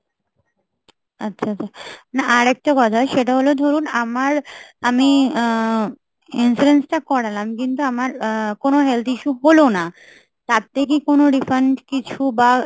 আচ্ছা আচ্ছা, মানে আর একটা কথা সেটা হল ধরুন আমার আমি আহ insurance টা করালাম, কিন্তু আমার আহ কোনো health issue হল না তার থেকে কোনো refund কিছু বা